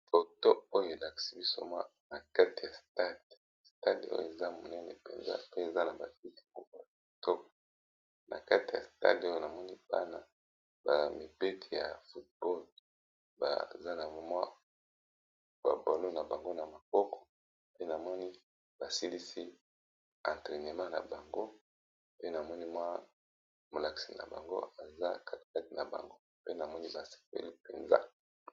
Foto oyo elakisi biso na kati ya stade stade oyo eza monene mpenza te eza na bakiti ya kitoko na kate ya stade oyo namoni bana bamipeti ya football baza na mwa babolo na bango na maboko pe namoni basilisi entrenema na bango pe namoni mwa molakisi na bango eza katigati na bango pe namoni basepeli mpenza.